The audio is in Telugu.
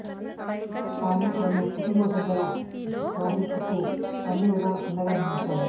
కానీ ఆమె కుటుంబసభ్యులు రాహి కు అన్ని విధాల అండగా నిలిచారు